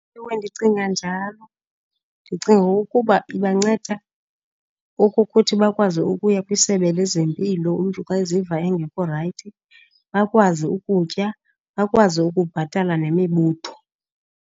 Ewe, ndicinga njalo. Ndicinga ukuba ibanceda okokuthi bakwazi ukuya kwiSebe lezeMpilo umntu xa eziva engekho rayithi, bakwazi ukutya, bakwazi ukubhatala nemibutho.